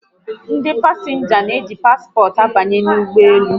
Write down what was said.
Ndị pasịnja n'eji paspọt abanye n'ụgbọelu